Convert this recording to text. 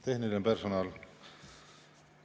Tehniline personal!